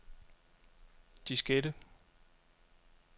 diskette